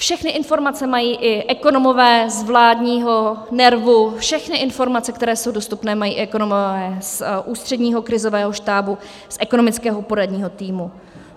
Všechny informace mají i ekonomové z vládního NERVu, všechny informace, které jsou dostupné, mají i ekonomové z Ústředního krizového štábu, z ekonomického poradního týmu.